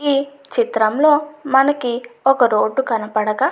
ఈ చిత్రంలో మనకి ఒక రోడ్డు కనపడగా --